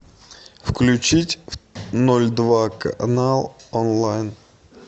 включить ноль два канал онлайн